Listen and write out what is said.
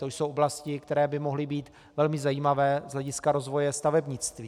To jsou oblasti, které by mohly být velmi zajímavé z hlediska rozvoje stavebnictví.